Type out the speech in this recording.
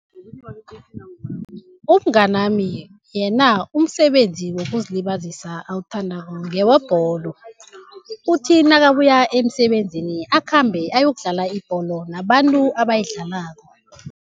Umnganami yena umsebenzi wokuzilibazisa awuthandako ngewebholo, uthi nakabuya emisebenzini akhambe ayokudlala ibholo nabantu abayidlalako.